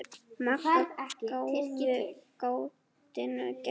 Magga gáfu gatinu gætur.